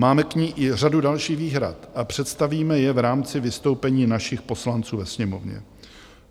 Máme k ní i řadu dalších výhrad a představíme je v rámci vystoupení našich poslanců ve Sněmovně.